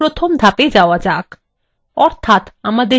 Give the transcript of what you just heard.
অর্থাত আমাদের ডাটাবেস উদ্দেশ্য নির্ধারণ করা